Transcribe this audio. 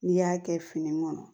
N'i y'a kɛ fini kɔnɔ